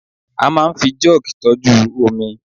a ma n fi jug tọju omi